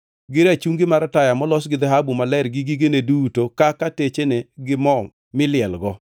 gi rachungi mar taya molos gi dhahabu maler gi gigene duto kaka techene gi mo milielgo;